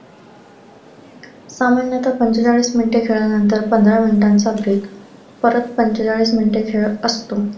पाऊण नाहीतर पंचेचाळीस मिनिटे खेळल्यानंतर पंधरा मिनिटांचा break परत पंचेचाळीस मिनिटे खेळ असतो.